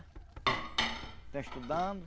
Estão estudando.